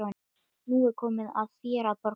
Nú er komið að þér að borga.